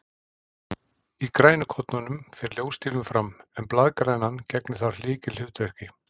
Í grænukornunum fer ljóstillífun fram, en blaðgrænan gegnir þar lykilhlutverki.